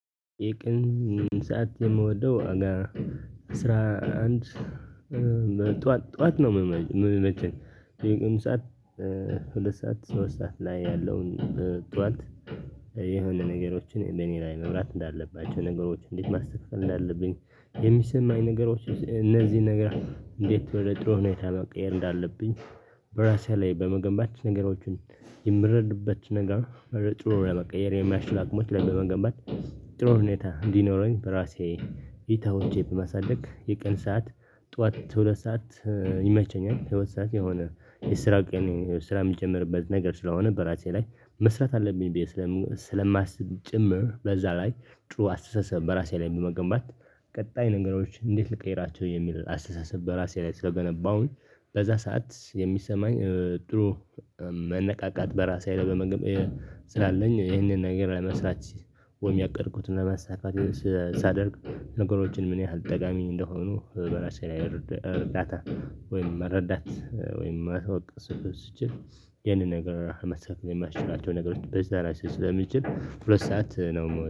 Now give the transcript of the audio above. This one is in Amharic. የቅን ሰዓት የምወደው ዋጋ አስራ አንድ ጠዋት ነው። የሚመቸኝ የወን ሰዓት ሁለት ሰዓት ሶስት ሰዓት ላይ ያለውን ጠዋት። ነገሮችን እኔ ላይ መብራት እንዳለባቸው ነገሮች እንዴት ማስተካከል እንዳለብኝ የሚሰማኝ ነገሮች እነዚህ ነገር እንዴት ወደ ጥሩ ሁኔታ መቀየር እንዳለብኝ። በራሴ ላይ በመገንባት ነገሮችን የምረዳበት ነገር። ጥሩ ለመቀየር የሚያስችል አቅሞች ለመገንባት እና ጥሩ ሁኔታ እንዲኖረኝ በራሴ። ኢታዎቼ በማሳደግ የቀን ሰዓት ጠዋት እስከ ሁለት ሰዓት ይመቸኛል። ሁለት ሰዓት የሆነ የስራ ስራ የምትጀምርበት ነገር ስለሆነ በራሴ ላይ መስራት አለብኝ ብዬ ስለማስብ። ጭምር በዛ ላይ ጥሩ አስተሳሰብ በራሴ ላይ በመገንባት። ቀጣይ ነገሮች እንዴት ልቀይራቸው የሚል አስተሳሰብ በራሴ ላይ ስለገነባውኝ በዛ ሰዓት የሚሰማኝ ጥሩ። መነቃቃት በራሳዬ ላይ በመገንባት ስላለኝ ይህንን ነገር ለመስራት ወይም ያቀድኩትን ለመሳካት። ሳደርግ ነገሮችን ምን ያህል ጠቃሚ እንደሆኑ በራሴ ላይ እርዳታ ወይም መረዳት ወይም ማተዋወቅ ስትችል። ይሄንን ነገር መስቀል የማይችላቸው ነገሮች በዛ ላይ ስትችል ሁለት ሰዓት ነው